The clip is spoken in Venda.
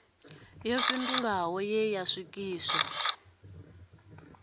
yo fhindulwaho ye ya swikiswa